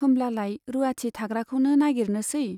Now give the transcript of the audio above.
होमब्लालाय रुवाथि थाग्राखौनो नागिरनोसै ?